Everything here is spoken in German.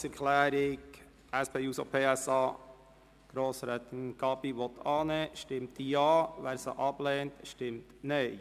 Wer die Planungserklärung der SP-JUSO-PSA, Gabi und Jordi, annimmt, stimmt Ja, wer sie ablehnt, stimmt Nein.